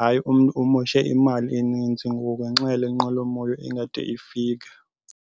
hayi, umntu umoshe imali eninzi ngoku ngenxa yale nqwelomoya ingade ifike.